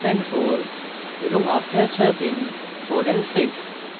এবং after swapping 4 and 6